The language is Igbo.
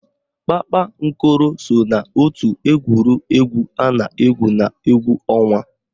Kpakpankoro so n'ótù egwuregwu a na-égwù n'égwú ọnwa